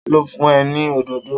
Ta ló fún ẹ ní òdòdó?